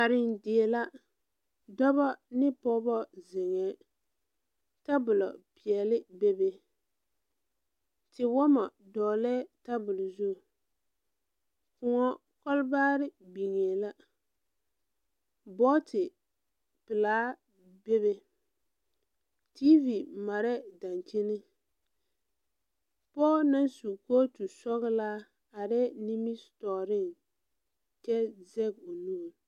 Karendie la dɔbɔ ne pɔgeba zeŋɛɛ tabol peɛle bebe tewɔmɔ dɔglɛɛ tabol zu koɔ kɔglebaare biŋee la booti pelaa bebe TV marɛɛ daŋkyini pɔge naŋ su kooti sɔglaa arɛɛ nimitɔɔre kyɛ zɛge o nuu.